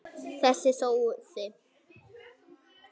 Þessi sóði!